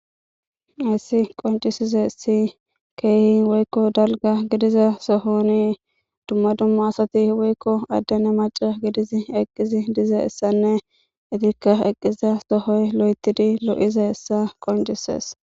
issi qoncisize si keehi woykko dalga gidiza sohonii dumma dumma asati woykko addane maca gidizi eqqizi dize issanne itirka eqqiza sohoy lo7etidi lo7ize issa qoncises